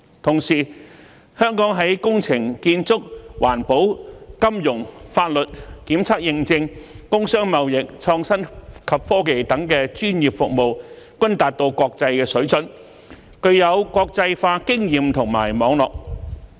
同時，香港在工程、建築、環保、金融、法律、檢測認證、工商貿易、創新及科技等專業服務均達到國際水準，具有國際化經驗及網絡。